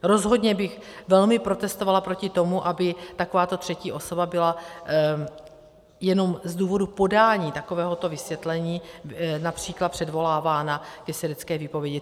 Rozhodně bych velmi protestovala proti tomu, aby takováto třetí osoba byla jenom z důvodu podání takovéhoto vysvětlení například předvolávána ke svědecké výpovědi.